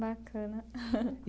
Bacana.